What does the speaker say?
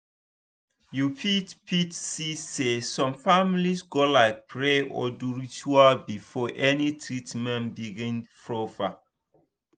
you fit fit see say some families go like pray or do ritual before any treatment begin proper.